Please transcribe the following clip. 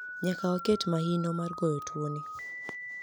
niyaka waket mahino mar goyo tuo nii